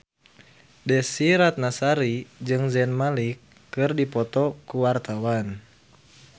Desy Ratnasari jeung Zayn Malik keur dipoto ku wartawan